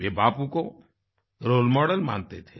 वे बापू को role model मानते थे